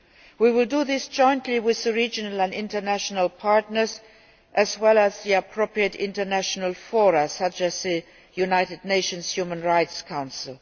We will do this jointly with our regional and international partners, as well as the appropriate international fora such as the United Nations Human Rights Council.